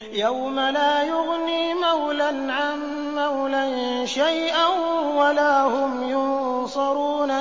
يَوْمَ لَا يُغْنِي مَوْلًى عَن مَّوْلًى شَيْئًا وَلَا هُمْ يُنصَرُونَ